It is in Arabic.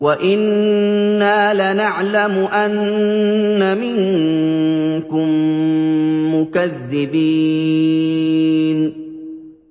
وَإِنَّا لَنَعْلَمُ أَنَّ مِنكُم مُّكَذِّبِينَ